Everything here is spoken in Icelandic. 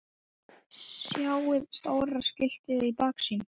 Sjáið stóra skiltið í baksýn.